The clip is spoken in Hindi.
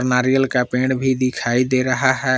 नारियल का पेड़ भी दिखाई दे रहा है।